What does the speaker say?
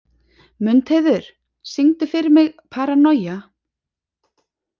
Mundheiður, syngdu fyrir mig „Paranoia“.